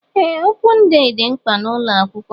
Ee opun dee dị mkpa n'ụlọ akwụkwọ